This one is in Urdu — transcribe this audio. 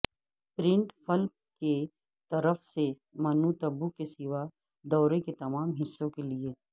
پرنٹ فلپ کی طرف سے منوطبو کے سوا دورے کے تمام حصوں کے لئے